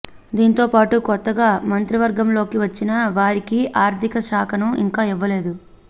దీంతో పాటు కొత్తగా మంత్రివర్గంలోకి వచ్చిన వారికి ఆర్థిక శాఖను ఇంకా ఇవ్వలేదు